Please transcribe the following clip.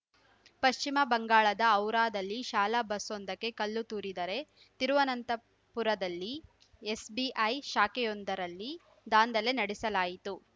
ಪಶ್ಚಿಮ ಬಂಗಾಳದ ಹೌರಾದಲ್ಲಿ ಶಾಲಾ ಬಸ್‌ವೊಂದಕ್ಕೆ ಕಲ್ಲು ತೂರಿದರೆ ತಿರುವನಂತಪುರದಲ್ಲಿ ಎಸ್‌ಬಿಐ ಶಾಖೆಯೊಂದರಲ್ಲಿ ದಾಂಧಲೆ ನಡೆಸಲಾಯಿತು